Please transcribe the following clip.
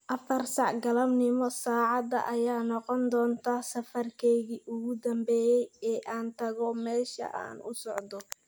afar sac galabnimo saacada ayaa noqon doonta safarkayga ugu dambeeya ee aan tago meesha aan u socdo